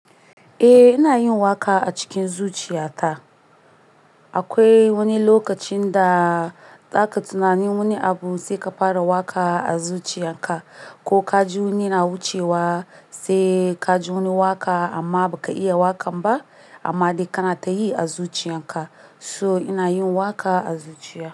Eh ina yin waka a cikin zuciya ta. Akwai wani lokacin da za ka tunani wani abu sai ka fara waka a zuciya ka, ko ka ji wani yana wucewa sai ka ji wani waka amma ba ka iya wakan ba amma dai kana ta yi a zuciyan ka. So ina yin waka a zuciya.